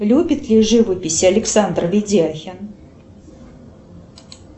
любит ли живопись александр видяхин